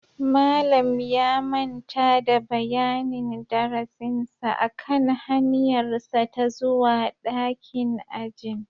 Malam ya manta da bayanin darasinsa akan hanyarsa ta zuwa dakin ajin